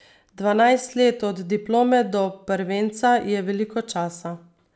Dvanajst let od diplome do prvenca je veliko časa.